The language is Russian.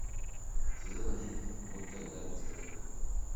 сезон один мульта игра престолов